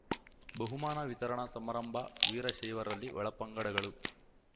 ಬಹುಮಾನ ವಿತರಣಾ ಸಮಾರಂಭ ವೀರಶೈವರಲ್ಲಿ ಒಳಪಂಗಡಗಳು